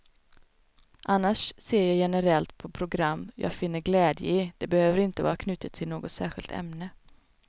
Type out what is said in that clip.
Annars ser jag generellt på program jag finner glädje i, det behöver inte vara knutet till något särskilt ämne.